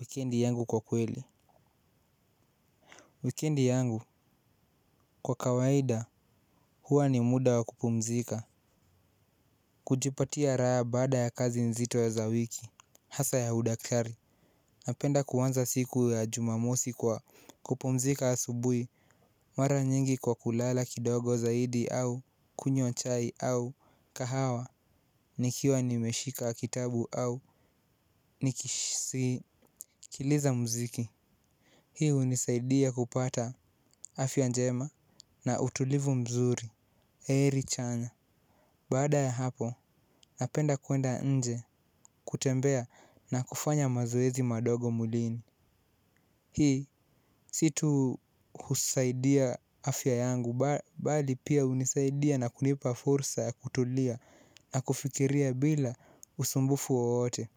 Wikendi yangu kwa kweli. Wikendi yangu kwa kawaida huwa ni muda wa kupumzika. Kujipatia raha baada ya kazi nzito za wiki hasa ya udaktari. Napenda kuanza siku ya Jumamosi kwa kupumzika asubuhi. Mara nyingi kwa kulala kidogo zaidi au kunywa chai au kahawa. Nikiwa nimeshika kitabu au nikisikiliza muziki. Hii hunisaidia kupata afya njema na utulivu mzuri, heri chanya. Baada ya hapo, napenda kuenda nje kutembea na kufanya mazoezi kidogo mwilini. Hii, si tu husaidia afya yangu bali pia hunisaidia na kunipa fursa ya kutulia na kufikiria bila usumbufu wowote.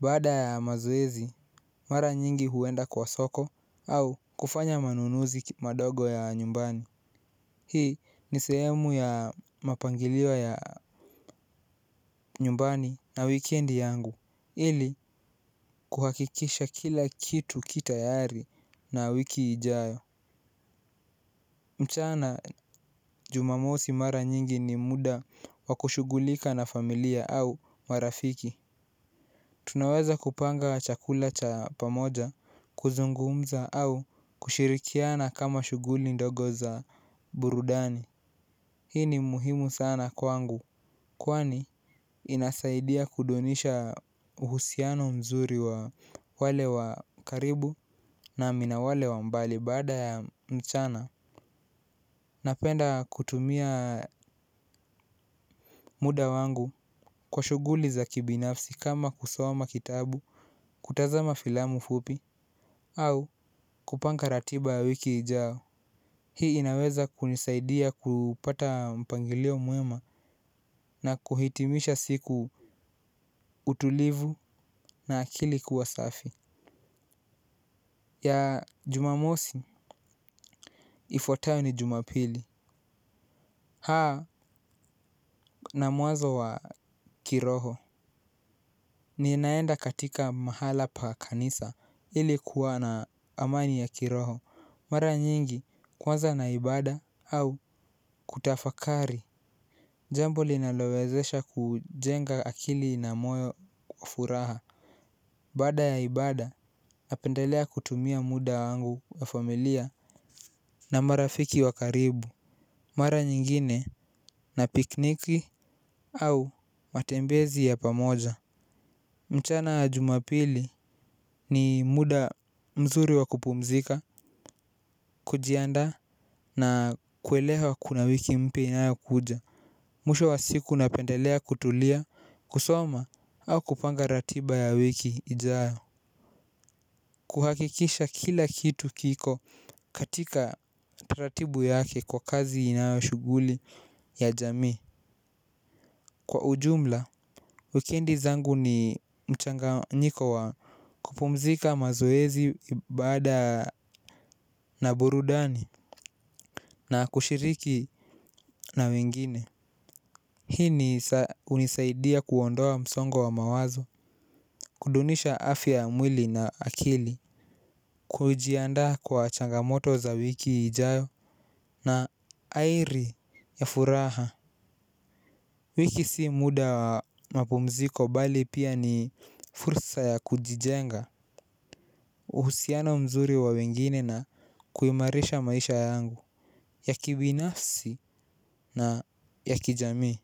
Baada ya mazoezi, mara nyingi huenda kwa soko au kufanya manunuzi madogo ya nyumbani. Hii ni sehemu ya mapangilio ya nyumbani na wikendi yangu ili kuhakikisha kila kitu kitayari na wiki ijayo. Mchana Jumamosi mara nyingi ni muda wa kushughulika na familia au marafiki. Tunaweza kupanga chakula cha pamoja, kuzungumza au kushirikiana kama shughuli ndogo za burudani. Hii ni muhimu sana kwangu kwani inasaidia kudunisha uhusiano mzuri wa wale wa karibu nami na wale wa mbali baada ya mchana. Napenda kutumia muda wangu kwa shughuli za kibinafsi kama kusoma kitabu, kutazama filamu fupi au kupanga ratiba ya wiki ijao. Hii inaweza kunisaidia kupata mpangilio mwema na kuhitimisha siku utulivu na akili kuwa safi ya Jumamosi, ifuatayo ni Jumapili na mwanzo wa kiroho. Ninaenda katika mahala pa kanisa ili kuwa na amani ya kiroho. Mara nyingi kuanza na ibada au kutafakari. Jambo linalowezesha kujenga akili na moyo kwa furaha. Baada ya ibada napendelea kutumia muda wangu wa familia na marafiki wa karibu. Mara nyingine na pikniki au matembezi ya pamoja. Mchana ya Jumapili ni muda mzuri wa kupumzika, kujiandaa na kuelewa kuna wiki mpya inayokuja. Mwisho wa siku napendelea kutulia, kusoma, au kupanga ratiba ya wiki ijayo. Kuhakikisha kila kitu kiko katika ratibu yake kwa kazi inayo shughuli ya jamii. Kwa ujumla, wikendi zangu ni mchanganyiko wa kupumzika, mazoezi baada na burudani na kushiriki na wengine. Hii hunisaidia kuondoa msongo wa mawazo. Kudunisha afya ya mwili na akili. Kujiandaa kwa changamoto za wiki ijayo. Na airi ya furaha. Wiki si muda wa mapumziko bali pia ni fursa ya kujijenga. Uhusiano mzuri wa wengine na kuimarisha maisha yangu ya kibinafsi na ya kijamii.